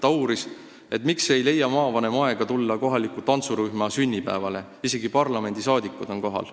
Ta uuris, miks ei leia maavanem aega tulla kohaliku tantsurühma sünnipäevale, isegi kui parlamendiliikmed on kohal.